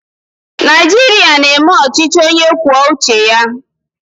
Naijiria na-eme ọchịchị onye kwuo uche ya